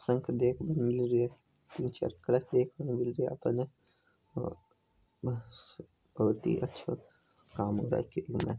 देखने मिल रहे है निचे फर्श देखने को मिल रहे है बहुत आछो काम हो राखो इने --